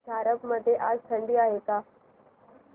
झारप मध्ये आज थंडी आहे का